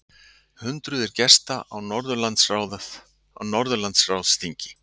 Hundruðir gesta á Norðurlandaráðsþingi